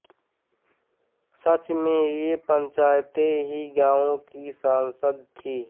सच में ये पंचायतें ही गांवों की संसद थीं